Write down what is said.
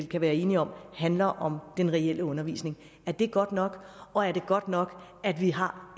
kan være enige om handler om den reelle undervisning er det godt nok og er det godt nok at vi har